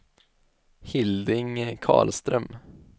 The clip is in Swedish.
Hilding Karlström